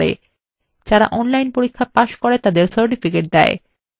যারা online পরীক্ষা pass করে তাদের certificates দেয়